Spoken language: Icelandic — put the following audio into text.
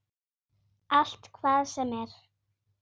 Allt, hvað sem er.